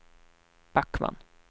Backman